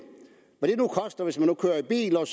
koster hvis man kører i bil og